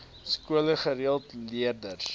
skole gereeld leerders